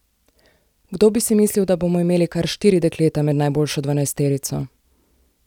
Kdo bi si mislil, da bomo imeli kar štiri dekleta med najboljšo dvanajsterico!